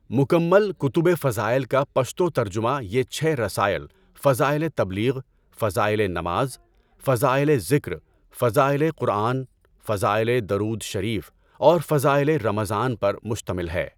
مکمل کُتُبِ فضائل کا پشتو ترجمہ یہ چھ رسائل فضائلِ تبلیغ، فضائلِ نماز، فضائلِ ذکر، فضائلِ قرآن، فضائلِ درود شریف اور فضائلِ رمضان پر مشتمل ہے۔